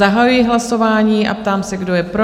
Zahajuji hlasování a ptám se, kdo je pro?